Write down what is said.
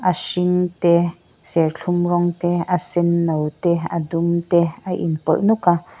a hring te serthlum rawng te a senno te a dum te a inpawlh nawk a.